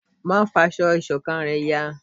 má fá aṣọ ìṣọ̀kan rẹ yá!